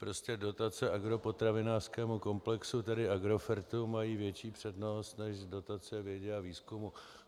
Prostě dotace agropotravinářskému komplexu, tedy Agrofertu, mají větší přednost než dotace vědě a výzkumu.